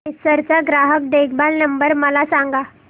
Acer चा ग्राहक देखभाल नंबर मला सांगा